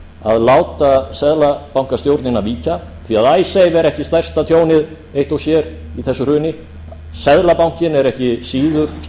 að láta seðlabankastjórnina víkja því icesave er ekki stærsta tjónið eitt og sér í þessu hruni seðlabankinn er ekki síður stórt tjón í því